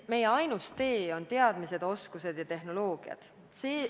Meie ainus tee on teadmised, oskused ja tehnoloogia.